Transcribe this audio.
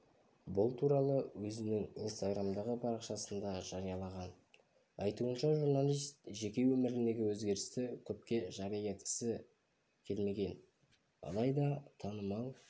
бұл туралы ол өзініңинстаграмдағы парақшасындажариялаған айтуынша журналист жеке өміріндегі өзгерісті көпке жария еткісі келмеген алайда танымал